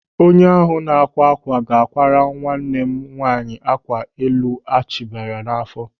Onye ahụ na-ákwá ákwà ga-ákwàrà nwanne m nwaanyị ákwà elu a chabiri n'áfọ́.